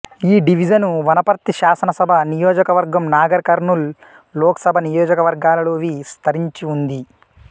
ఈ డివిజను వనపర్తి శాసనసభ నియోజకవర్గం నాగర్ కర్నూల్ లోకసభ నియోజకవర్గాలలోవిస్తరించిఉంది